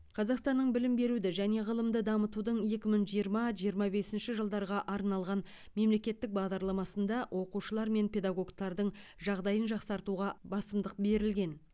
қазақстанның білім беруді және ғылымды дамытудың екі мың жиырма жиырма бесінші жылдарға арналған мемлекеттік бағдарламасында оқушылар мен педагогтардың жағдайын жақсартуға басымдық берілген